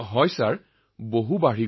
হয় মহোদয় যথেষ্ট বৃদ্ধি পাইছে